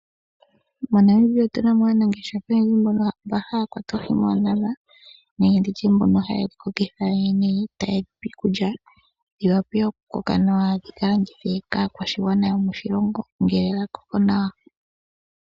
MoNamibia otu na mo aanangeshefa oyendji mba haya kwata oohi moondama nenge nditye mbono haye dhi tekula nawa nokudhi pa iikulya dhi wape oku koka nawa dhi ka landithwe kaakwashigwana yomoshilongo ngele dha koko nawa.